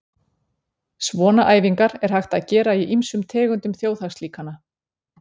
Svona æfingar er hægt að gera í ýmsum tegundum þjóðhagslíkana.